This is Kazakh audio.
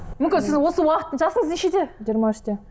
мүмкін сіз осы уақыт жасыңыз нешеде жиырма үште